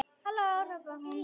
Halló hrópaði hún.